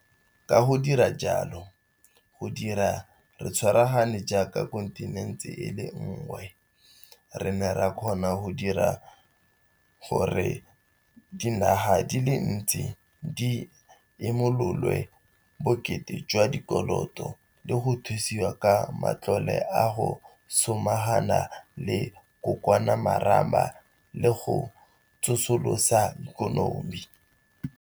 Ka go dira jalo, go dira re tshwaragane jaaka kontinente e le nngwe, re ne ra kgona go dira gore dinaga di le dintsi di imololwe bokete jwa dikoloto le go thusiwa ka matlole a go samagana le COVID-19 le a go tsosolosa ikonomi.